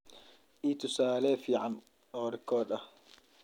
Ii tusaale fiican oo rikoodh ah.